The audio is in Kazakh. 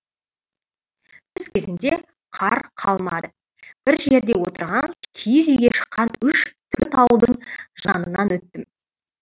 түс кезінде қар қалмады бір жерде отырған киіз үйге шыққан үш төрт ауылдың жанынан өттім